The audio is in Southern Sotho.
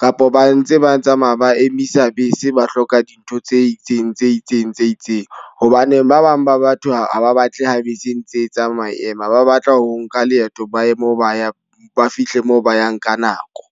kapa ba ntse ba tsamaya ba emisa bese ba hloka dintho tse itseng, tse itseng, tse itseng. Hobane ba bang ba batho ha ba batle ha bese ntse tsamaya e ema. Ba batla ho nka leeto ba ye moo ba yang ba fihle mo ba yang ka nako.